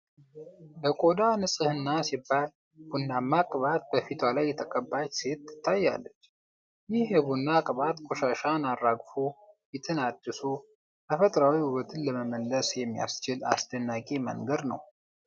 ለቆዳ ንፅህና ሲባል ቡናማ ቅባት በፊቷ ላይ የተቀባች ሴት ትታያለች። ይህ የቡና ቅባት ቆሻሻን አራግፎ፣ ፊትን አድሶ፣ ተፈጥሯዊ ውበትን ለመመለስ የሚያስችል አስደናቂ መንገድ ነው።